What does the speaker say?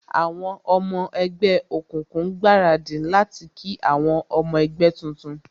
Àwọn ọmọ ẹgbẹ́ òkùnkùn ń gbaradì láti kí àwọn ọmọ ẹgbẹ́ tuntun